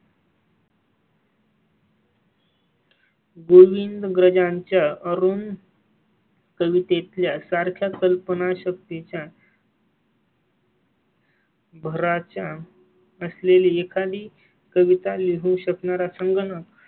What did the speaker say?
गोविंदाग्रजांच्या अरुण. कविते सारख्या कल्पनाशक्ती च्या. भराच्या असलेली एखादी कविता लिहू शकणारा संगणक